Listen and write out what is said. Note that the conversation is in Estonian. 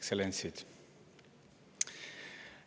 Ekstsellentsid!